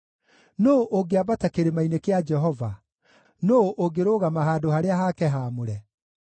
Nũũ ũngĩambata kĩrĩma-inĩ kĩa Jehova? Nũũ ũngĩrũgama handũ harĩa hake haamũre?